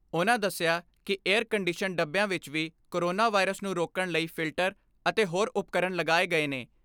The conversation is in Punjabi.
ਉਨ੍ਹਾਂ ਦਸਿਆ ਕਿ ਏਅਰ ਕੰਡੀਸ਼ਨ ਡੱਬਿਆਂ ਵਿਚ ਵੀ ਕੋਰੋਨਾ ਵਾਇਰਸ ਨੂੰ ਰੋਕਣ ਲਈ ਫਿਲਟਰ ਅਤੇ ਹੋਰ ਉਪਕਰਨ ਲਗਾਏ ਗਏ ਨੇ।